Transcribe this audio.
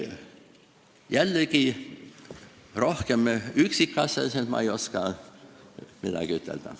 Jällegi, üksikasjalikumalt ei oska ma midagi ütelda.